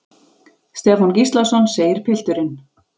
Stefán Gíslason, segir pilturinn.